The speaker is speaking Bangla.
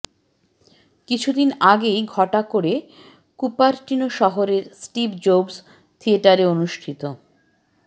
কিছুদিন আগেই ঘটা করে কুপারটিনো শহরের স্টিভ জোবস থিয়েটারে অনুষ্ঠিত